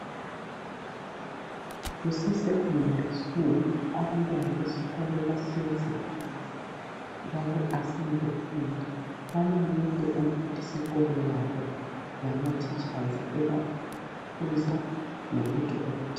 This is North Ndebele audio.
KuseSeconday School, abantwana besikolo bahlezi phansi baku assembly point balalele umphathisikolo wabo lamateachers ebakhuza ngolutho oluthile.